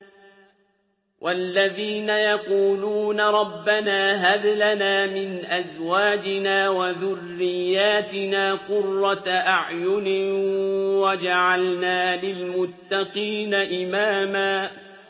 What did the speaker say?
وَالَّذِينَ يَقُولُونَ رَبَّنَا هَبْ لَنَا مِنْ أَزْوَاجِنَا وَذُرِّيَّاتِنَا قُرَّةَ أَعْيُنٍ وَاجْعَلْنَا لِلْمُتَّقِينَ إِمَامًا